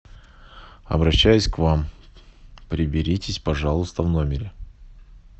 обращаюсь к вам приберитесь пожалуйста в номере